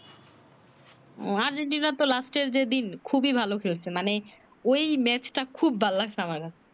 ও আর্জেন্টিনার তো লাস্টে যে দিক খুবি ভালো খেলছে মানে ঐ match টা খুব ভাল লাগছে আমার